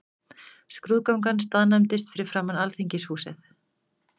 Skrúðgangan staðnæmdist fyrir framan Alþingishúsið.